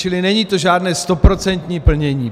Čili není to žádné stoprocentní plnění.